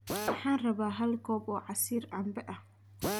Waxaan rabaa hal koob oo casiir cambe ah